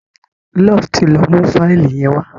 Love tí ló mú Fáìlì yen wá